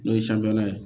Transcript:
N'o ye ye